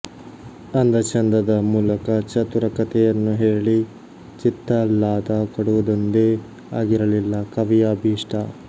ಅಂದಚಂದದ ಮೂಲಕ ಚತುರ ಕಥೆಯನ್ನು ಹೇಳಿ ಚಿತ್ತಾಹ್ಲಾದ ಕೊಡುವುದೊಂದೇ ಆಗಿರಲಿಲ್ಲ ಕವಿಯ ಅಭೀಷ್ಟ